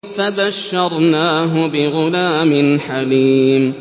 فَبَشَّرْنَاهُ بِغُلَامٍ حَلِيمٍ